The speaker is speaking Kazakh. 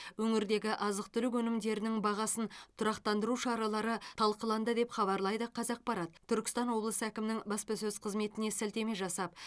өңірдегі азық түлік өнімдерінің бағасын тұрақтандыру шаралары талқыланды деп хабарлайды қазақпарат түркістан облысы әкімінің баспасөз қызметіне сілтеме жасап